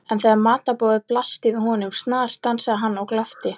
En þegar matarborðið blasti við honum snarstansaði hann og glápti.